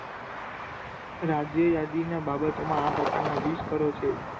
રાજ્ય યાદી ના બાબત માં આ પ્રકાર ના વીસ કરો છે.